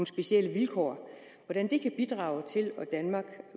specielle vilkår bidrage til at danmark